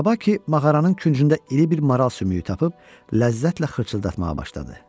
Tabaki mağaranın küncündə iri bir maral sümüyü tapıb ləzzətlə xırçıldatmağa başladı.